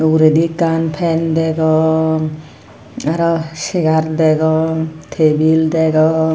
uguredi ekkan fen degong araw segar degong tebil degong.